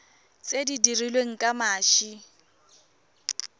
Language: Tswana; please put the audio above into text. tse di dirilweng ka mashi